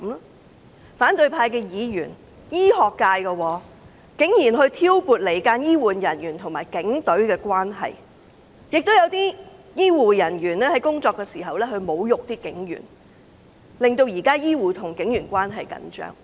在反對派議員當中有醫學界人士，但他竟然挑撥離間醫護人員與警隊的關係，亦有醫護人員在工作時侮辱警員，令現時醫護與警員關係緊張。